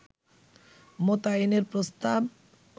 মোতায়েনের প্রস্তাব